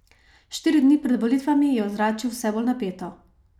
Štiri dni pred volitvami je ozračje vse bolj napeto.